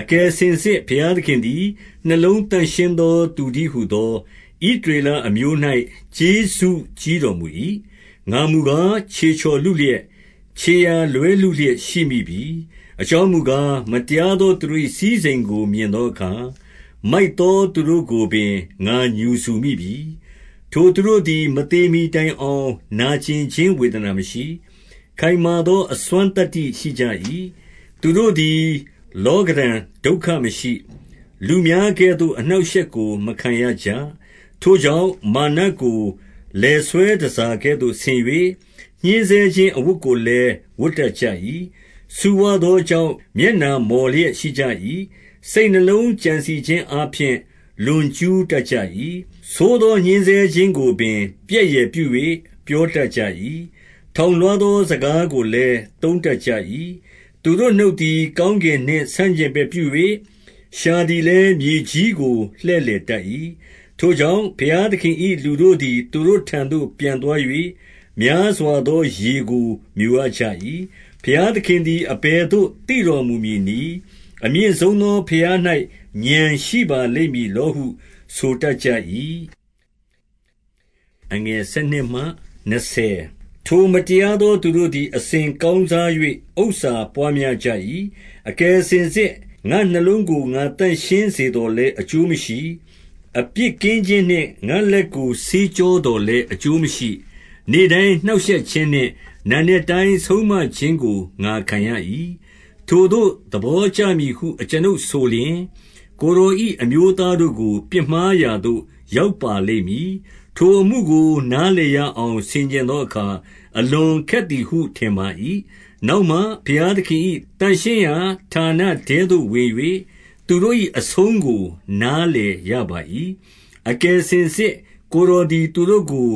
အကယ်စင်စစ် ဘုရားသခင်သည် နှလုံးသန့်ရှင်း သော သူတည်းဟူသော ဣသရေလအမျိုး၌ ကျေးဇူးကြီး တော်မူ၏။ ငါမူကား၊ ခြေချော်လုလျက်၊ ခြေရာလွဲလုလျက် ရှိမိပြီ။ အကြောင်းမူကား၊ မတရားသောသူတို့၏ စည်း စိမ်ကို မြင်သောအခါ၊ မိုက်သောသူတို့ကိုပင် ငါငြူစူမိပြီ။ ထိုသူတို့သည် မသေမှီတိုင်အောင် နာကြင်ခြင်း ဝေဒနာမရှိ။ ခိုင်မာသောအစွမ်းသတ္တိရှိကြ၏။ သူတို့သည် လောကဓံဒုက္ခမရှိ။ လူများကဲ့သို့ အနှောင့်အရှက်ကိုမခံရကြ။ ထိုကြောင့် မာနကို လည်ဆွဲတန်ဆာကဲ့သို့ဆင်၍၊ ညှဉ်းဆဲခြင်း အဝတ်ကိုလည်း ဝတ်တတ်ကြ၏။ ဆူဝသောကြောင့် မျက်နှာမော်လျက်ရှိကြ၏။ စိတ်နှလုံးကြံစည်ခြင်းအားဖြင့် လွန်ကျူးတတ်ကြ၏။ ဆိုးသောညှဉ်းဆဲခြင်းကိုပင် ပြက်ယယ်ပြု၍ ပြော တတ်ကြ၏။ ထောင်လွှားသော စကားကိုလည်း သုံးတတ် ကြ၏။ သူတို့နှုတ်သည် ကောင်းကင်နှင့် ဆန့်ကျင်ဘက် ပြု၍၊ လျှာသည်လည်း မြေကြီးကို လှည့်လည်တတ်၏။ ထိုကြောင့် ဘုရားသခင်၏ လူတို့သည် သူတို့ ထံသို့ ပြန်သွား၍ များစွာသော ရေကိုမျိုရကြ၏။ ဘုရားသခင်သည် အဘယ်သို့ သိတော်မူမည် နည်း။ အမြင့်ဆုံးသော ဘုရား၌ ဥာဏ်ရှိပါလိမ့်မည်လော ဟု ဆိုတတ်ကြ၏။ ထိုမတရားသော သူတို့သည် အစဉ်ကောင်းစား ၍ ဥစ္စာပွားများကြ၏။ အကယ်စင်စစ် ငါ့နှလုံးကို ငါသန့်ရှင်းစေသော် လည်း အကျိုးမရှိ။ အပြစ်ကင်းခြင်းနှင့် ငါ့လက်ကို ဆေးကြောသော်လည်း အကျိုးမရှိ။ နေ့တိုင်းနှောင့်ရှက်ခြင်းနှင့် နံနက်တိုင်းဆုံးမ ခြင်းကို ငါခံရ၏။ ထိုသို့သဘောကျမည်ဟု အကျွန်ုပ်ဆိုလျှင်၊ ကိုယ်တော်၏ အမျိုးသားတို့ကို ပြစ်မှားရာသို့ ရောက်ပါ လိမ့်မည်။ ထိုအမှုကိုနားလည်ရအောင် ဆင်ခြင်သောအခါ အလွန်ခက်သည်ဟု ထင်ပါ၏။ နောက်မှဘုရားသခင်၏ သန့်ရှင်းရာ ဌာနထဲသို့ ဝင်၍၊ သူတို့၏ အဆုံးကို နားလည်ရပါ၏။ အကယ်စင်စစ်ကိုယ်တော်သည် သူတို့ကို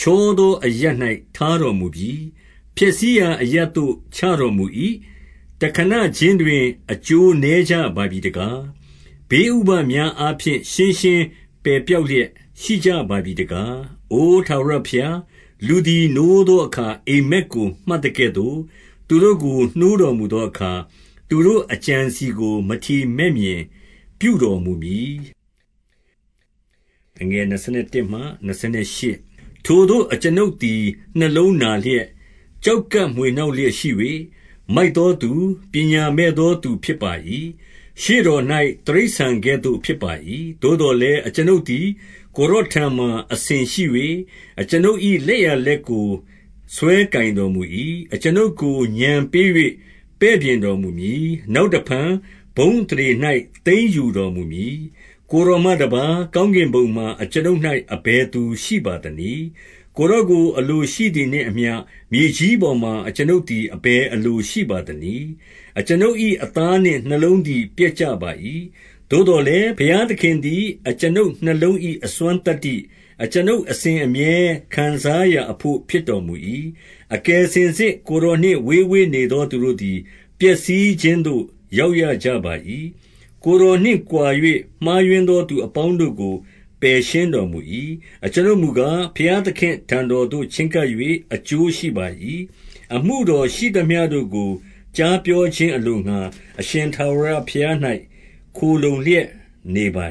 ချော သောအရပ်၌ ထားတော်မူပြီ။ ဖျက်ဆီးရာအရပ်သို့ ချတော်မူ၏။ တခဏခြင်းတွင် အကျိုးနည်းကြပါပြီတကား။ ဘေးဥပဒ်များအားဖြင့် ရှင်းရှင်းပယ်ပျောက်လျက် ရှိကြပါ ပြီတကား။ အိုထာဝရဘုရား၊ လူသည် နိုးသောအခါ အိပ် မက်ကိုမှတ်သကဲ့သို့ သူတို့ကို နှိုးတော်မူသောအခါ၊ သူတို့ အကြံအစည်ကို မထီမဲ့မြင်ပြုတော်မူမည်။ ထိုသို့ အကျွန်ုပ်သည် နှလုံးနာလျက်၊ ကျောက် ကပ်မွှေနှောက်လျက်ရှိ၍၊ မိုက်သောသူ၊ ပညာမဲ့သောသူဖြစ်ပါ၏။ ရှေ့ တော်၌ တိရစ္ဆာန်ကဲ့သို့ဖြစ်ပါ၏။ သို့သော်လည်း အကျွန်ုပ်သည် ကိုယ်တော်ထံမှာ အစဉ်ရှိ၍၊ အကျွန်ုပ်၏လက်ျာလက်ကို ဆွဲကိုင်တော်မူ၏။ အကျွန်ုပ်ကို ဥာဏ်ပေး၍ပဲ့ပြင်တော်မူမည်။ နောက်တဖန် ဘုန်းအသရေ၌ သိမ်းယူတော်မူမည်။ ကိုယ်တော်မှတပါး၊ ကောင်းကင်ဘုံမှာ အကျွန်ုပ် ၌ အဘယ်သူရှိပါသနည်း။ အကျွန်ုပ်၏အသားနှင့် နှလုံးသည် ပျက်ကြပါ ၏။ သို့သော်လည်း၊ ဘုရားသခင်သည် အကျွန်ုပ်နှလုံး၏ အစွမ်းသတ္တိ၊ အကျွန်ုပ်အစဉ်အမြဲ ခံစားရာအဘို့ ဖြစ်တော်မူ၏။ အကယ်စင်စစ် ကိုယ်တော်နှင့် ဝေးဝေးနေသော သူတို့သည် ပျက်စီးခြင်းသို့ ရောက်ရကြပါ၏။ ကိုယ်တော် နှင့် ကွာ၍မှားယွင်းသော သူအပေါင်းတို့ကို ပယ်ရှင်းတော် မူ၏။ အကျွန်ုပ်မူကား၊ ဘုရားသခင့်ထံတော်သို့ ချဉ်း ကပ်၍ အကျိုးရှိပါ၏။ အမှုတော်ရှိသမျှတို့ကို ကြားပြော ခြင်းအလိုငှါ၊ အရှင်ထာဝရဘုရား၌ ခိုလှုံလျက်နေပါ